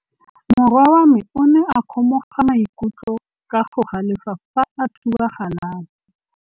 Morwa wa me o ne a kgomoga maikutlo ka go galefa fa a thuba galase.